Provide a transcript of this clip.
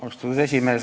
Austatud juhataja!